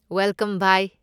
Welcome. By!